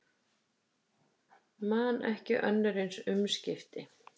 Man ekki önnur eins umskipti